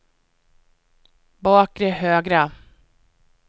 bakre högra